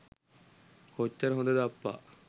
කොච්චර හොදද අප්පා